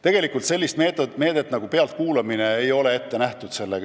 Tegelikult sellist meedet nagu pealtkuulamine ei ole siin ette nähtud.